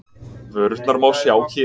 Vörurnar má sjá hér